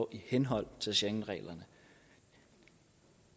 i henhold til schengenreglerne